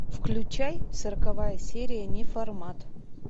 включай сороковая серия неформат